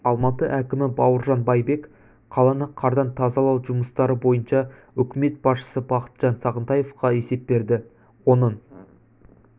алматы әкімі бауыржан байбек қаланы қардан тазалау жұмыстары бойынша үкімет басшысы бақытжан сағынтаевқа есеп берді оның